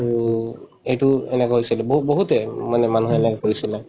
to এইটো এনেকুৱা হৈছিলে বহু‍‍ বহুতে উম মানে মানুহে এনেকুৱা কৰিছিলে